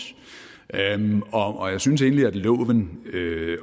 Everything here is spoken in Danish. og jeg synes egentlig at loven